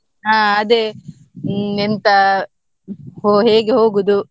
ಹಾ ಅದೇ, ಎಂತ, ಹೊ~ ಹೇಗೆ ಹೋಗುದು?